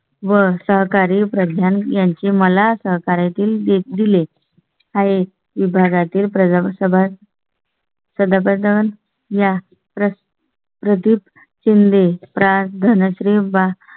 व सहकारी प्रग्यान यांची मला साकारायची दिले आहेत. विभागातील प्रथम सभा. सध्या पर्यावरण या प्रश् प्रदीप शिंदे, प्रा धनश्री भा